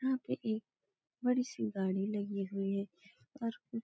यहाँ पे एक बड़ी सी गाड़ी लगी हुई है और कुछ --